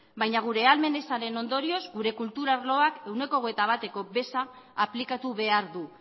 baina gure ahalmen ezaren ondorioz gure kultura arloak ehuneko hogeita batko beza aplikatu behar du